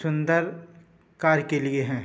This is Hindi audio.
सुंदल कार के लिए हैं।